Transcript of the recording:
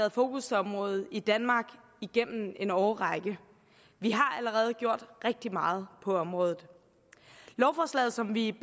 et fokusområde i danmark igennem en årrække vi har allerede gjort rigtig meget på området lovforslaget som vi